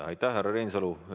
Aitäh, härra Reinsalu!